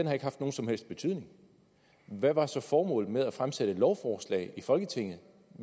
har haft nogen som helst betydning hvad var så formålet med at fremsætte et lovforslag i folketinget